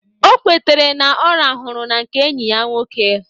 O kwetere na ọ rahụru na nke enyi ya nwoke